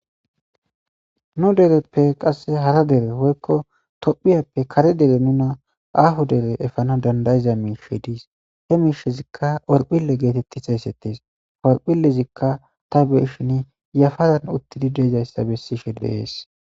Nu dereppe qasse hara dere woykko Tophphiyappe kare dere nuna aaho dere efana dandda'iza miishshey dees he miishshezikka horphphille geeteti xeysettees horphphillezikka ta be'ishin yafaran uttidi de'izayssa beshise de'es.